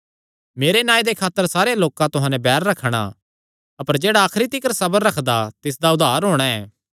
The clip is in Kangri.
मेरे नांऐ दे खातर सारेयां लोकां तुहां नैं बैर रखणा अपर जेह्ड़ा आखरी तिकर सबर रखगा तिसदा उद्धार होणा ऐ